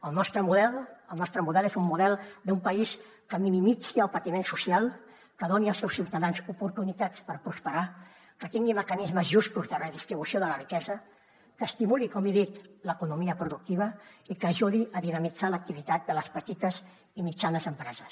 el nostre model és un model d’un país que minimitzi el patiment social que doni als seus ciutadans oportunitats per prosperar que tingui mecanismes justos de redistribució de la riquesa que estimuli com he dit l’economia productiva i que ajudi a dinamitzar l’activitat de les petites i mitjanes empreses